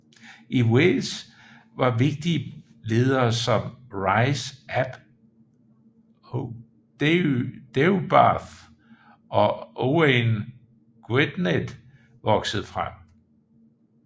I Wales var vigtige ledere som Rhys ap Deheubarth og Owain Gwynedd vokset frem